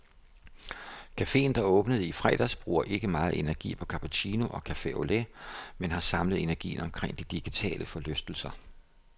Cafeen, der åbnede i fredags, bruger ikke meget energi på cappuchino og cafe au lait, men har samlet energien omkring de digitale forlystelser.